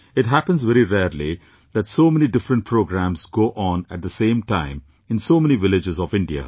It happens very rarely that so many different programmes go on at the same time in so many villages of India